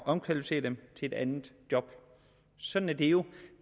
omkvalificere dem til et andet job sådan er det jo